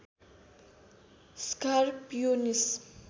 scar pianist